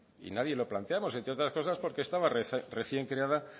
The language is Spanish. y nadie lo planteamos porque entre otras cosas estaba recién creada